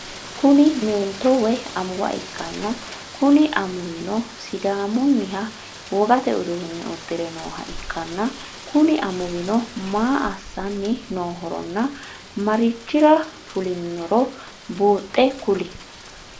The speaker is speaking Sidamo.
Kuni meentto woyi amuuwa ikkanna Kuni amuuwino sidaamunniha wogate uduunne uddire nooha ikkanna Kuni amuuwino maa assanni nohoronna maricchira fulinnoro buhxxe kuli?